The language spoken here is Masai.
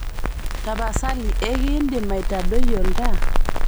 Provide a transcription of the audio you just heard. tapasali ekiindim aitadoi oltaa